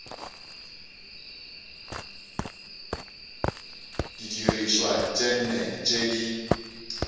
didirišwa tše nne tše di